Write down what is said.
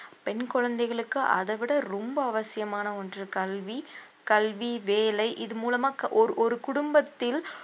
பெண் குழந்தைகளுக்கு அதவிட ரொம்ப அவசியமான ஒன்று கல்வி, கல்வி வேலை இது மூலமா க~ ஒரு ஒரு குடும்பத்தில்